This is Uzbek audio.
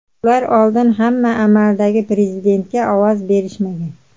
Ular oldin ham amaldagi prezidentga ovoz berishmagan.